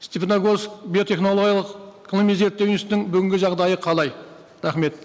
степногорск биотехнологиялық ғылыми зерттеу институтының бүгінгі жағдайы қалай рахмет